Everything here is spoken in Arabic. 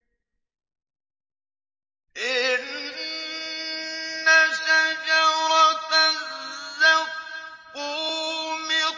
إِنَّ شَجَرَتَ الزَّقُّومِ